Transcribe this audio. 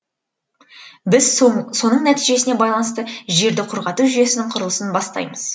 біз соның нәтижесіне байланысты жерді құрғату жүйесінің құрылысын бастаймыз